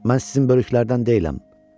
Mən sizin bölüklərdən deyiləm.